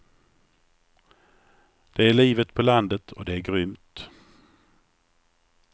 Det är livet på landet och det är grymt.